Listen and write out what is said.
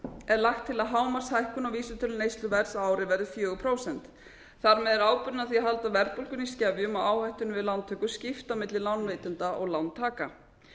er lagt til að hámarkshækkun á vísitölu neysluverðs á ári verði fjögur prósent þar með er ábyrgðin á því að halda verðbólgunni í skefjum og áhættunni við lántökur skipt á milli lánveitenda og lántaka